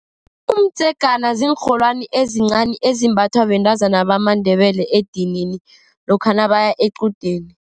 Umdzegana ziinrholwani ezincani ezimbathwa bentazana bamaNdebele edinini, lokha nabaya equdeni.